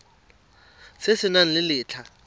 se se nang le letlha